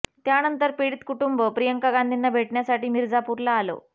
त्यानंतर पीडित कुटुंब प्रियांका गांधींना भेटण्यासाठी मिर्झापूरला आलं